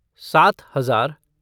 सात हजार